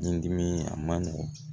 Ni dimi a ma nɔgɔn